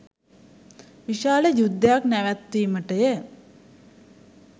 විශාල යුද්ධයක් නැවැත්වීමටය.